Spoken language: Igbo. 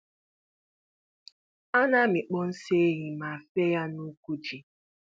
A na-amịkpọ nsị ehi ma fee ya nuku ji.